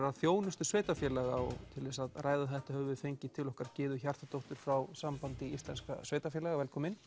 að þjónustu sveitarfélaga og til þess að ræða þetta höfum við fengið til okkar Gyðu Hjartardóttur frá Sambandi íslenska sveitarfélaga velkomin